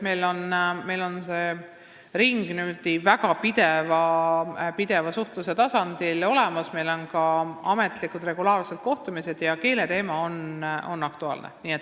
Selles ringis toimuvad ametlikud regulaarsed kohtumised ja keeleteema on nendel aktuaalne.